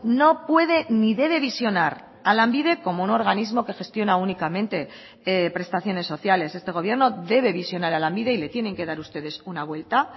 no puede ni debe visionar a lanbide como un organismo que gestiona únicamente prestaciones sociales este gobierno debe visionar a lanbide y le tienen que dar ustedes una vuelta